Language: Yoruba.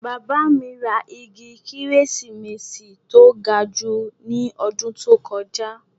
Bàbá mi ra igi kérésìmesì tó ga jù ní ọdún tó kọjá